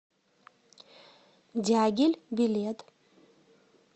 дягиль билет